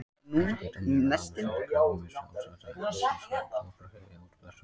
Þetta geta meðal annars verið krabbameinsvaldandi efni, svo sem tóbaksreykur eða útblástur bifreiða.